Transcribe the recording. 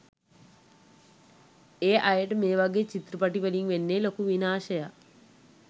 ඒ අයට මේ වගේ චිත්‍රපටවලින් වෙන්නෙ ලොකු විනාශයක්.